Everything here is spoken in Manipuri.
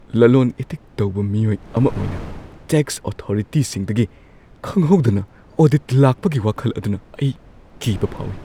ꯂꯂꯣꯟ ꯏꯇꯤꯛ ꯇꯧꯕ ꯃꯤꯑꯣꯏ ꯑꯃ ꯑꯣꯏꯅ, ꯇꯦꯛꯁ ꯑꯣꯊꯣꯔꯤꯇꯤꯁꯤꯡꯗꯒꯤ ꯈꯪꯍꯧꯗꯅ ꯑꯣꯗꯤꯠ ꯂꯥꯛꯄꯒꯤ ꯋꯥꯈꯜ ꯑꯗꯨꯅ ꯑꯩ ꯀꯤꯕ ꯐꯥꯎꯏ ꯫